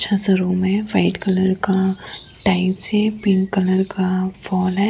अच्छा सा रूम है व्हाइट कलर का टाइल्स है पिंक कलर का वॉल है।